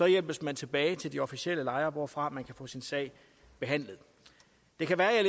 hjælpes man tilbage til de officielle lejre hvorfra man kan få sin sag behandlet det kan være at jeg